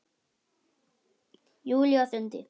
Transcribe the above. Júlía stundi.